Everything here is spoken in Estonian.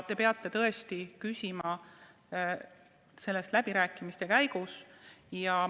Te peate küsima selle kohta läbirääkimistel.